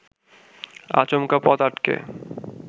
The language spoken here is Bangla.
আচমকা পথ আটকে